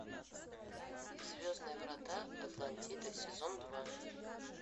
звездные врата атлантида сезон два